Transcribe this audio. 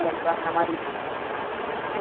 ஆயிரத்தி அறுநூறு ரூபாய் ரெண்டுன்னா.